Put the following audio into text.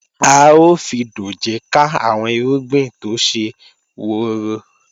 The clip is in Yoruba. A ó fi dòjé ká àwọn irúgbìn tó ṣe woro